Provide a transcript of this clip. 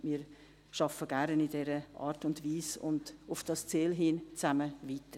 Wir arbeiten gerne in dieser Art und Weise und auf dieses Ziel hin zusammen weiter.